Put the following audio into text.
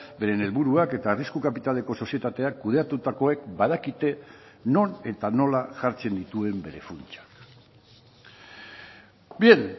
beren helburuak eta arrisku kapitaleko sozietateak kudeatutakoek badakite non eta nola jartzen dituen bere funtsa bien